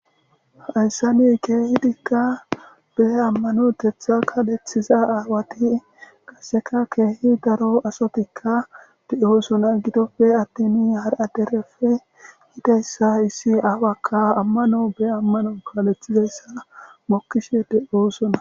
Haysan keehidika be amanotetha kaalethiza aawati qasseka keehidi daro asatika doosona. Gidoppe attin hara dereppe yida issi aawaka amano be amano kaalethizaysa mokkishe de'oosona.